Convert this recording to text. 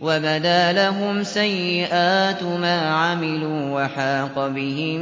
وَبَدَا لَهُمْ سَيِّئَاتُ مَا عَمِلُوا وَحَاقَ بِهِم